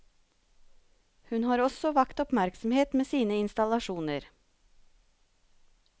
Hun har også vakt oppmerksomhet med sine installasjoner.